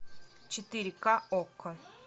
четыре ка окко